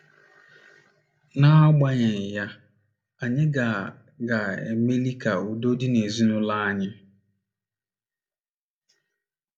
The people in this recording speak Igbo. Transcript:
N’agbanyeghị ya, anyị ga ga - emeli ka udo dị n’ezinụlọ anyị.